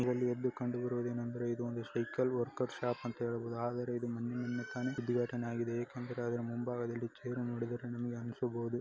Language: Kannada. ಎಲ್ಲಿ ಯದ್ದು ಸೈಕಲ್ ವರ್ಕರ್ ಶಾಪ್ ಆದರೆ ಯಾಕಂದ್ರೆ ಅದು ಮುಂಭಾಗದಲ್ಲಿ ಚೇರ್ ನೋಡಿದರೆ ನಿಮಗೆ ಅನ್ಸಬೋದು .